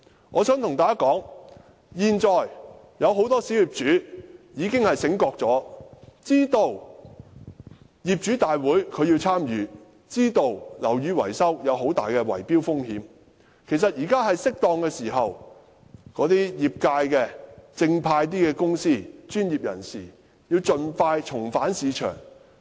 我想對大家說，現在很多小業主已經覺醒，知道必須參與業主大會，知道樓宇維修有很大的圍標風險，其實現在是適當時候，業界內正派的公司和專業人士應盡快重返市場。